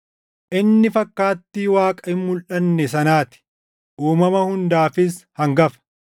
Inni fakkaattii Waaqa hin mulʼanne sanaa ti; uumama hundaafis hangafa.